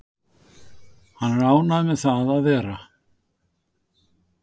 Hann er ánægður með það að vera